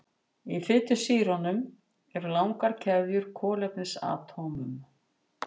Í fitusýrunum eru langar keðjur kolefnisatómum.